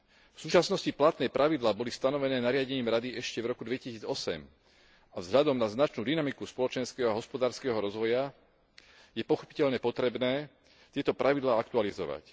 V súčasnosti platné pravidlá boli stanovené nariadením Rady ešte v roku 2008 a vzhľadom na značnú dynamiku spoločenského a hospodárskeho rozvoja je pochopiteľne potrebné tieto pravidlá aktualizovať.